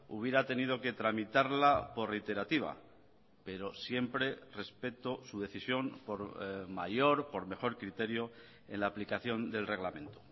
hubiera tenido que tramitarla por reiterativa pero siempre respeto su decisión por mayor por mejor criterio en la aplicación del reglamento